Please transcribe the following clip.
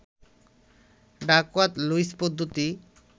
Duckworth Lewis পদ্ধতি